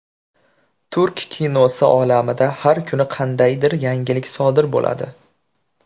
Turk kinosi olamida har kuni qandaydir yangilik sodir bo‘ladi.